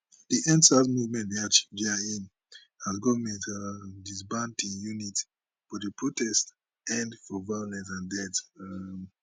di endsars movement bin achieve dia aim as goment um disband di unit but di protest end for violence and deaths um